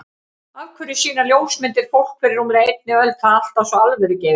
Af hverju sýna ljósmyndir fólk fyrir rúmlega einni öld það alltaf svo alvörugefið?